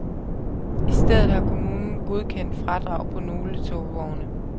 I stedet har kommunen godkendt fradrag på nogle togvogne.